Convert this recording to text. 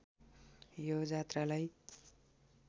यो जात्रालाई